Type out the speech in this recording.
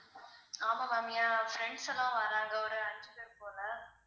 ஆமா ma'am என் friends எல்லாம் வர்றாங்க ஒரு அஞ்சு பேர் போல